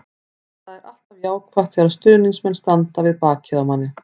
Það er alltaf jákvætt þegar stuðningsmenn standa á bak við manni.